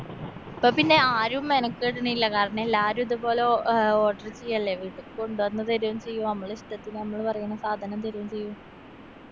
ഇപ്പോ പിന്നെ ആരും മെനക്കടിണില്ല. കാരണം എല്ലാരും ഇതുപോലെ ഓ ആഹ് order ചെയ്യല്ലേ ഇത് കൊണ്ടന്ന് തരുവും ചെയ്യും. നമ്മളെ ഇഷ്ട്ടത്തിന് നമ്മള് പറയണ സാധനം തരുവും ചെയ്യും.